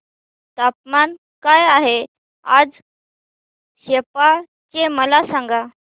तापमान काय आहे आज सेप्पा चे मला सांगा